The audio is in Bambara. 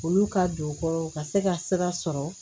Olu ka don u kɔrɔ u ka se ka sira sɔrɔ